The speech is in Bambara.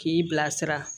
K'i bilasira